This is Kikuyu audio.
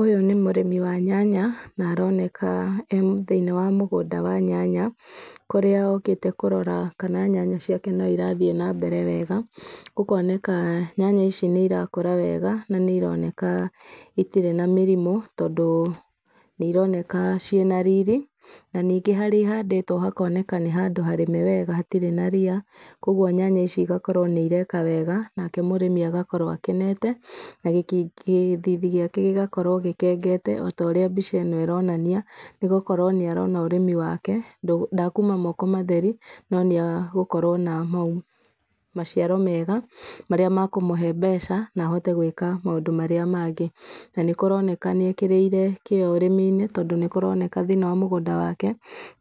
Ũyũ nĩ mũrĩmi wa nyanya, na aroneka emũthĩinĩ wa mũgũnda wa nyanya, kũrĩa okĩte kũrora kana nyanya ciake no irathiĩ nambere wega, ũkoneka nyanya ici nĩ irakũra wega, na nĩ ironeka citirĩ na mĩrimũ, tondũ nĩ ironeka ciĩna riri, na ningĩ harĩa ihandĩtwo hakoneka nĩ handũ harĩme wega hatirĩ na ria, koguo nyanya ici igakorwo nĩ ireka wega, nake mũrĩmi agakorwo akenete na gĩthithi gĩake gĩgakorwo gĩkengete, otaũrĩa mbica ĩno ĩrinania, nĩgũkorwo ũrĩmi wake ndakuuma moko matheri, no nĩagũkorwo na maciaro mega, marĩa mekũmũhe mbeca, na ahote gũĩka maũndũ marĩa mangĩ. Na nĩ kũroneka nĩ ekĩrĩire kĩo ũrĩmi-inĩ, tondũ nĩ kũroneka thĩinĩ wa mũgũnda wake